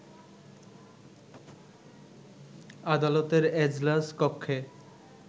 আদালতের এজলাস কক্ষে